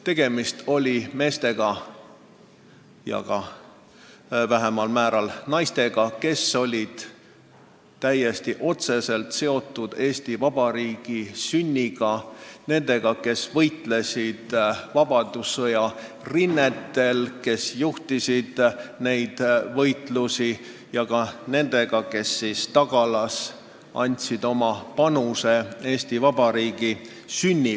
Tegemist oli meestega, vähemal määral ka naistega, kes olid otseselt seotud Eesti Vabariigi sünniga – inimestega, kes võitlesid vabadussõja rinnetel, kes juhtisid neid võitlusi, ja ka inimestega, kes tagalas andsid oma panuse Eesti Vabariigi sünniks.